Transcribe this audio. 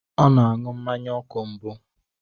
Ọ na-aṅụ mmanya ọkụ mbụ.